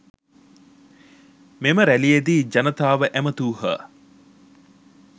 මෙම රැළියේදී ජනතාව ඇමතූහ.